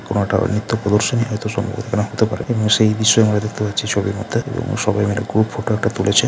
কোন একটা নৃত্য প্রদর্শন হয়ত সংবর্ধনা হতে পারে এবং সেই বিষয়ে আমরা দেখতে পাচ্ছি ছবির মধ্যে এবং সবাই মিলে গ্রুপ ফটো একটা তুলেছে।